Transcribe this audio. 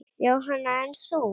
Jóhann: En þú?